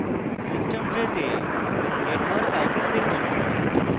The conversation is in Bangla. system tray তে network icon দেখুন